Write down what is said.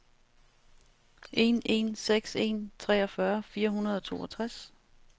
en en seks en treogfyrre fire hundrede og toogtres